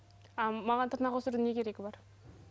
а маған тырнақ өсірудің не керегі бар